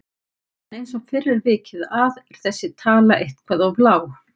En eins og fyrr er vikið að er þessi tala eitthvað of lág.